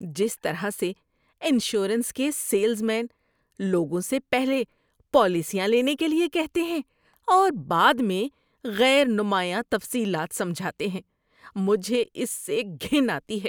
جس طرح سے انشورنس کے سیلز مین لوگوں سے پہلے پالیسیاں لینے کے لیے کہتے ہیں اور بعد میں غیر نمایاں تفصیلات سمجھاتے ہیں، مجھے اس سے گھن آتی ہے۔